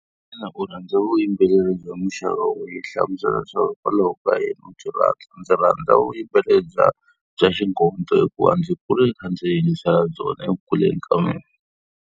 Xana u rhandza vuyimbeleri bya muxaka wihi? Hlamusela leswaku hikwalaho ka yini u byi rhandza. Ndzi rhandza vuyimbeleri bya bya xingondo hikuva ndzi kule ndzi kha ndzi yingisela byona eku kuleni ka mina.